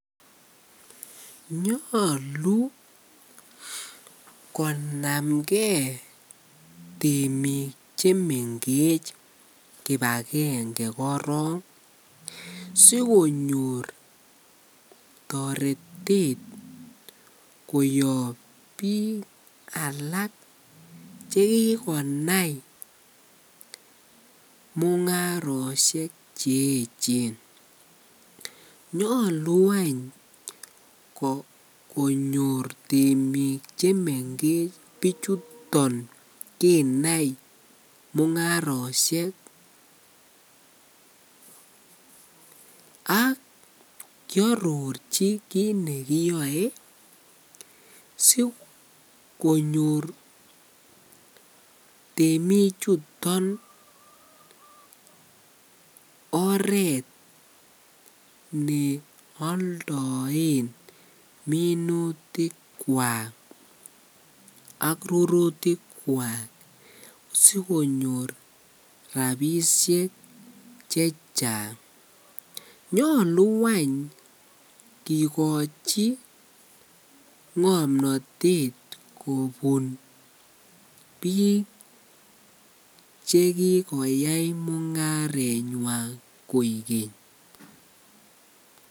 Nyolu konamkee temik chemengech kibakenge korong sikonyor toretet koyob biik alak chekikonam mungaroshek che echen, nyolu any konyor temik chemengech bichuton kinai mungaroshek ak kiororchi kiit nekiyoe sikonyor temichuton oreet ne oldoen minutikwak ak rurutikwa sikonyor rabishek chechang, nyolu any kikochi ngomnotet kobun biik chekikoyai mungarenywan koikeny.